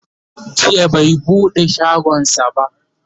jiya bai buɗe shagonsa ba